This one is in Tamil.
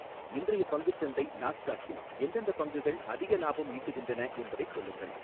இன்றைய பங்குச் சந்தை நாஸ்டாக்கில் எந்தெந்தப் பங்குகள் அதிக லாபம் ஈட்டுகின்றன என்பதைச் சொல்லுங்கள்